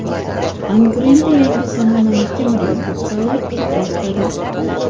Angrenda yangi zamonaviy temir yo‘l vokzali qad rostladi.